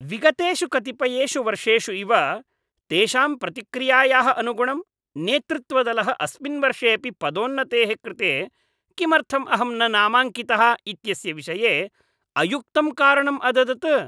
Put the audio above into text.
विगतेषु कतिपयेषु वर्षेषु इव तेषां प्रतिक्रियायाः अनुगुणं, नेतृत्वदलः अस्मिन् वर्षे अपि पदोन्नतेः कृते किमर्थम् अहं न नामाकाङ्कितः इत्यस्य विषये अयुक्तं कारणम् अददत्।